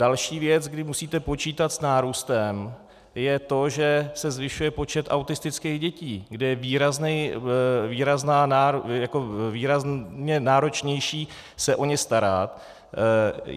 Další věc, kdy musíte počítat s nárůstem, je to, že se zvyšuje počet autistických dětí, kde je výrazně náročnější se o ně starat.